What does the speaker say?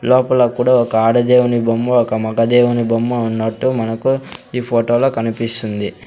లోపల కూడా ఒక ఆడ దేవుని బొమ్మ ఒక మగ దేవుని బొమ్మ ఉన్నట్టు మనకు ఈ ఫోటో లో కనిపిస్తుంది.